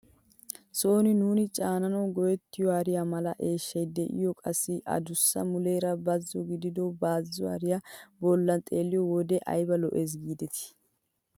Sooni nuuni caananawu go"ettiyoo hariyaa mala eeshshayde'iyoo qassi a duussay muleera bazo gidido bazo hariyaa bollay xeelliyoo wode ayba lo"ees gidetii!